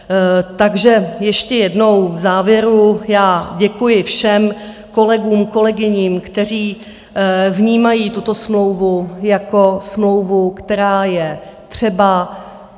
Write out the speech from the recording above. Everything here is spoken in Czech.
Takže ještě jednou v závěru já děkuji všem kolegům, kolegyním, kteří vnímají tuto smlouvu jako smlouvu, která je třeba.